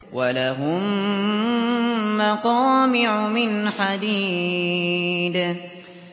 وَلَهُم مَّقَامِعُ مِنْ حَدِيدٍ